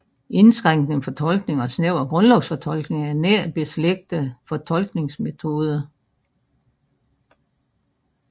Indskrænkende fortolkning og snæver grundlovsfortolkning er nært beslægtede fortolkningsmetoder